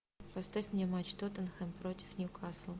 поставь мне матч тоттенхэм против ньюкасл